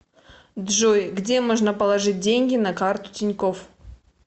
джой где можно положить деньги на карту тинькофф